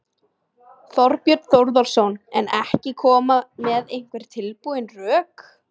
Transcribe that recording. Þorbjörn Þórðarson: En ekki koma með einhver tilbúin rök?